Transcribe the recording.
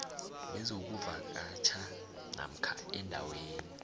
nezokuvakatjha namkha endaweni